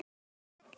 kallar hann.